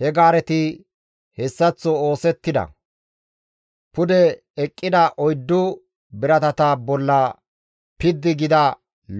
He gaareti hessaththo oosettida; pude eqqida oyddu biratata bolla piddi gida